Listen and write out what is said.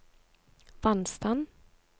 vannstand